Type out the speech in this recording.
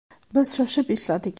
Biz shoshib ishladik.